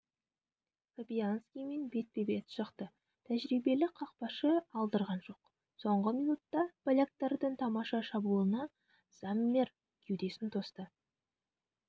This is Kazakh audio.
фабианьскимен бетпе-бет шықты тәжірибелі қақпашы алдырған жоқ соңғы минутта поляктардың тамаша шабуылына зоммер кеудесін тосты